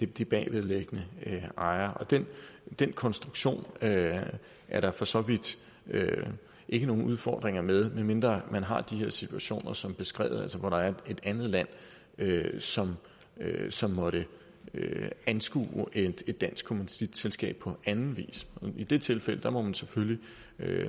de bagvedliggende ejere og den den konstruktion er der for så vidt ikke nogen udfordringer med medmindre man har de her situationer som er beskrevet altså hvor der er et andet land som som måtte anskue et dansk kommanditselskab på en anden vis i det tilfælde må man selvfølgelig